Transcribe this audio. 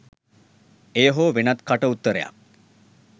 එය හෝ වෙනත් කට උත්තරයක්